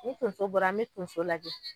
Ni tonso bɔra an be tonso lajɛ